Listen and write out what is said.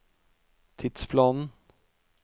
tidsplanen